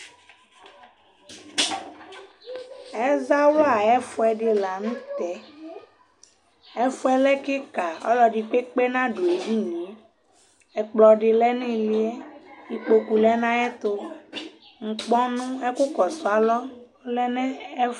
ɛzawla yʊ ɛfʊɛdɩ la nʊtɛ ɛfʊɛ lɛ kɩka ɔlɔdɩkpekpe nadʊ ediniyɛ ɛkplɔ dɩ lɛ nʊ ïlɩ ɩkpoku lɛ nʊ ayɛtʊ ɛkʊsʊalɔ lɛnʊ ɛfu